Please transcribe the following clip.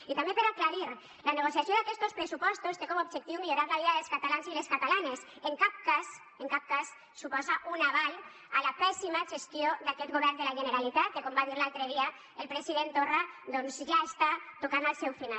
i també per aclarir la negociació d’aquests pressupostos té com a objectiu millorar la vida dels catalans i les catalanes en cap cas suposa un aval a la pèssima gestió d’aquest govern de la generalitat que com va dir l’altre dia el president torra doncs ja està tocant al seu final